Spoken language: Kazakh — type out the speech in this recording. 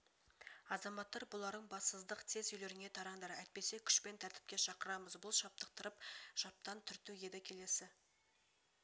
азаматтар бұларың бассыздық тез үйлеріңе тараңдар әйтпесе күшпен тәртіпке шақырамыз бұл шаптықтырып шаптан түрту еді келесі